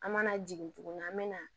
An mana jigin tuguni an bɛ na